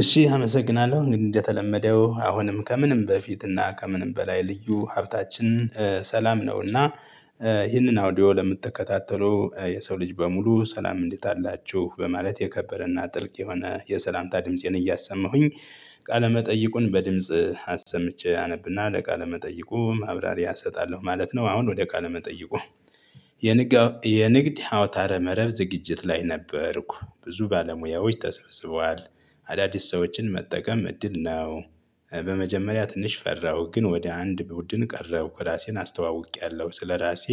እሺ አመሰግናለሁ እንግዲህ እንደተለመደው አሁንም ከምንም በፊትና ከምንም በላይ ልዩ ሀብታችን ሰላም ነውና። ይህንን አውዲዮ ለምትከታተሉ የሰው ልጅ በሙሉ ሰላም እንዴት አላችሁ? በማለት የከበረና ጥልቅ የሆነ የሰላምታ ድምፄን እያሰማሁኝ ቃለመጠይቁን በድምጽ አሰምቼ አነብና ለቃለ መጠይቁ ማብራሪያ እሰጣለሁ ማለት ነው። አሁን ወደ ቃለ መጠይቁ። የንግድ ሀውታረ መረብ ዝግጅት ላይ ነበርኩ ብዙ ባለሙያዎች ተሰብስበዋል። አዳዲስ ሰዎችን መጠቀም እድል ነው። በመጀመሪያ ትንሽ ፈራሁ ግን ወደ አንድ ቡድን ቀረብኩ ራሴን አስተዋውቄያለሁ ስለራሴ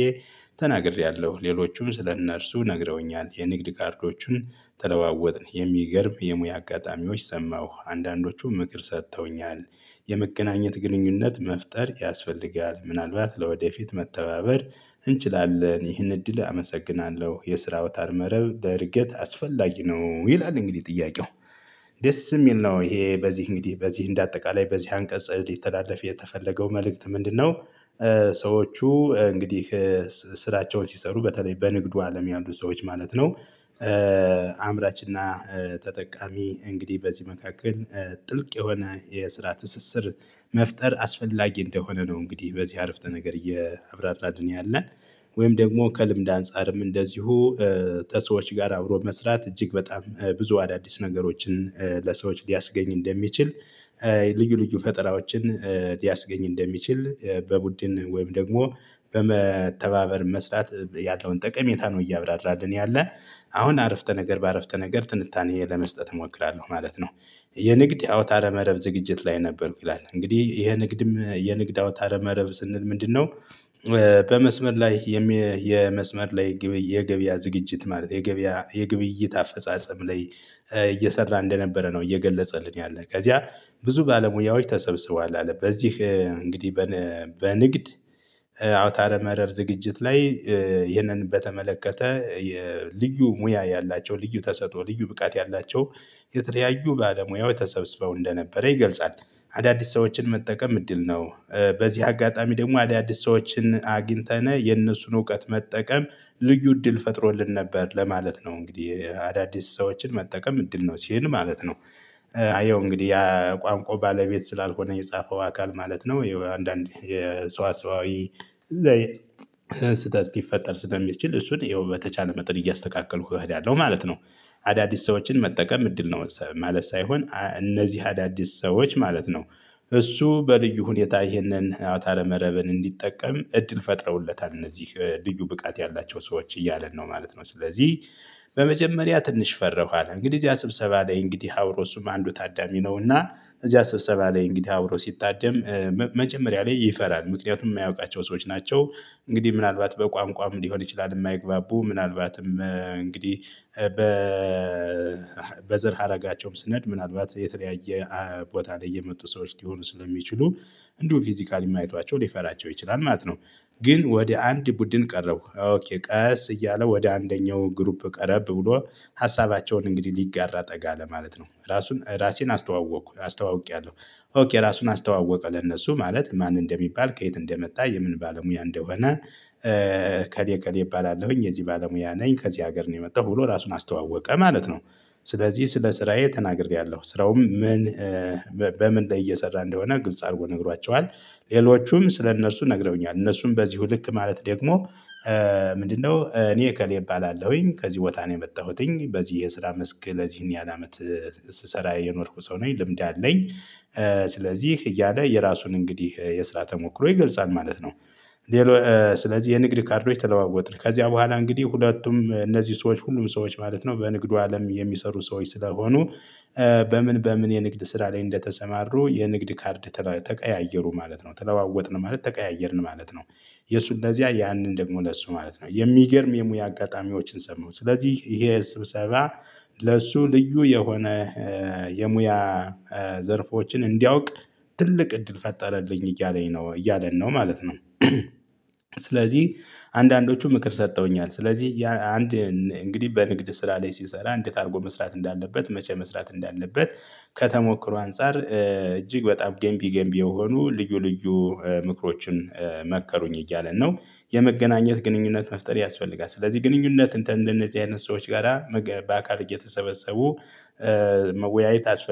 ተናግሬያለሁ ሌሎቹም ስለእነርሱ ነግረውኛል የንግድ ካርዶቹን ተለዋወጥን የሚገርም የሙያ አጋጣሚዎች ሰማሁ አንዳንዶቹ ምክር ሰጥተውኛል። የመገናኘት ግንኙነት መፍጠር ያስፈልጋል ምናልባት ለወደፊት መተባበር እንችላለን። ይህን እድል አመሰግናለሁ የስራ አውታር መረብ ለእድገት አስፈላጊ ነው። ይላል። እንግዲህ ጥያቄው ደስ እሚል ነው። ይሄ በዚህ እንግዲህ በዚህ እንደ አጠቃላይ በዚህ አንቀጽ ሊተላለፍ የተፈለገው መልእክት ምንድነው? ሰዎቹ እንግዲህ ስራቸውን ሲሰሩ በተለይ በንግዱ አለም ያሉ ሰዎች ማለት ነው። አምራች እና ተጠቃሚ እንግዲህ በዚህ መካከል ጥልቅ የሆነ የስራ ትስስር መፍጠር አስፈላጊ እንደሆነ ነው። እንግዲህ በዚህ አረፍተ ነገር እያብራራልን ያለ ወይም ደግሞ ከልምድ አንፃርም እንደዚሁ ተሰዎች ጋር አብሮ መስራት እጅግ በጣም ብዙ አዳዲስ ነገሮችን ለሰዎች ሊያስገኝ እንደሚችል። ልዩ ልዩ ፈጠራዎችን ሊያስገኝ እንደሚችል። በቡድን ወይም ደግሞ በመተባበር መስራት ያለውን ጠቀሜታ ነው እያብራራልን ያለ። አሁን ዐረፍተ ነገር በዐረፍተ ነገር ትንታኔ ለመስጠት እሞክራለሁ ማለት ነው። የንግድ አውታረ መረብ ዝግጅት ላይ ነበርኩ ይላል እንግዲህ ይሄ ንግድም የንግድ አውታር መረብ ስንል ምንድነው? በመስመር ላይ የመስመር ላይ የገበያ ዝግጅት ማለት የገበያ የግብይት አፈጻጸም ላይ እየሰራ እንደነበረ ነው። እየገለጸልን ያለ ከዚያ ብዙ ባለሙያዎች ተሰብስበዋል። አለ በዚህ እንግዲህ በንግድ አውታረ መረብ ዝግጅት ላይ ይህንን በተመለከተ ልዩ ሙያ ያላቸው ልዩ ተሰጦ ልዩ ብቃት ያላቸው የተለያዩ ባለሙያው ተሰብስበው እንደነበረ ይገልጻል። አዳዲስ ሰዎችን መጠቀም እድል ነው። በዚህ አጋጣሚ ደሞ አዳዲስ ሰዎችን አግኝተነ የእነሱን እውቀት መጠቀም ልዩ እድል ፈጥሮልን ነበር ለማለት ነው። እንግዲህ አዳዲስ ሰዎችን መጠቀም እድል ነው ሲህን ማለት ነው። እየው እንግዲህ የቋንቋው ባለቤት ስላልሆነ የጻፈው አካል ማለት ነው አንዳንድ የሰዋሰዋዊ ስህተት ሊፈጠር ስለሚችል እሱን ይኸው በተቻለ መጠን እያስተካከልኩ እሄዳለሁ ማለት ነው። አዳዲስ ሰዎችን መጠቀም እድል ነው ማለት ሳይሆን እነዚህ አዳዲስ ሰዎች ማለት ነው። እሱ በልዩ ሁኔታ ይህንን አውታረ መረብን እንዲጠቀም እድል ፈጥረውለታል እነዚህ ልዩ ብቃት ያላቸው ሰዎች እያለን ነው ማለት ነው። ስለዚህ በመጀመሪያ ትንሽ ፈርሁ አለ እንግዲህ እዚያ ስብሰባ ላይ እንግዲህ አብሮ እሱም አንዱ ታዳሚ ነውና። እዚህ ስብሰባ ላይ እንግዲህ አብሮ ሲታደም መጀመሪያ ላይ ይፈራል ምክንያቱም እማያውቃቸው ሰዎች ናቸው። እንግዲህ ምናልባት በቋንቋም ሊሆን ይችላል። እማይግባቡ ምናልባትም እንግዲህ በዘር ሀረጋቸውም ስነሄድ ምናልባት የተለያየ ቦታ ላይ የመጡ ሰዎች ሊሆኑ ስለሚችሉ እንዲሁ ፊዚካሊ እማያቸው ሊፈራቸው ይችላል ማለት ነው። ግን ወደ አንድ ቡድን ቀረቡኩ ኦኬ ቀስ እያለ ወደ አንደኛው ግሩፕ ቀረብ ብሎ ሀሳባቸውን እንግዲህ ሊጋራ ጠጋ አለ ማለት ነው። ራሱን ራሴን አስተዋወቅኩ አስተዋውቄያለሁ። ሆክ የራሱን አስተዋወቀ ለነሱ ማለት ማን እንደሚባል ከየት እንደመጣ የምን ባለሙያ እንደሆነ። እኔ እገሌ እባላለሁኝ የዚህ ባለሙያ ነኝ ከዚህ ሀገር ነው የመጣሁ ብሎ ራሱን አስተዋወቀ ማለት ነው። ስለዚህ ስለ ስራዬ ተናግሬያለሁ ስራውም ምን? በምን ላይ እየሰራ እንደሆነ ግልጽ አድርጎ ነግሯቸዋል። ሌሎቹም ስለ እነርሱ ነግረውኛል እነርሱም በዚሁ ልክ ማለት ደግሞ ምንድነው እኔ ከሌ እባላለሁኝ ከዚህ ቦታ ነው የመጣሁትኝ በዚህ የስራ መስክ ለዚህን ያላመት። ስሰራ የኖርኩ ሰው ነኝ ልምድ አለኝ። ስለዚህ እያለ የራሱን እንግዲህ የስራ ተሞክሮ ይገልጻል ማለት ነው። ስለዚህ የንግድ ካርዶች ተለዋወጥን ከዚያ በኋላ እንግዲህ ሁለቱም እነዚህ ሰዎች ሁሉም ሰዎች ማለት ነው በንግዱ አለም የሚሰሩ ሰዎች ስለሆኑ። በምን በምን የንግድ ስራ ላይ እንደተሰማሩ የንግድ ካርድ ተቀያየሩ ማለት ነው ተለዋወጥን ማለት ተቀያየርን ማለት ነው። የእሱ ለዚያ ያንን ደግሞ ለእሱ ማለት ነው የሚገርም የሙያ አጋጣሚዎችን ሰማሁ ስለዚህ ይሄ ስብሰባ ለሱ ልዩ የሆነ የሙያ ዘርፎችን እንዲያውቅ ትልቅ እድል ፈጠረልኝ እያለኝ ነው እያለን ነው ማለት ነው። ስለዚህ አንዳንዶቹ ምክር ሰጥተውኛል ስለዚህ አንድ እንግዲህ በንግድ ስራ ላይ ሲሰራ እንዴት አድርጎ መስራት እንዳለበት መቼ መስራት እንዳለበት። ከተሞክሮ አንፃር እጅግ በጣም ገንቢ ገንቢ የሆኑ ልዩ ልዩ ምክሮችን መከሩኝ እያለን ነው። የመገናኘት ግንኙነት መፍጠር ያስፈልጋል። ስለዚህ ግንኙነት እንትን እንደነዚህ አይነት ሰዎች ጋራ በአካል እየተሰበሰቡ። መወያየት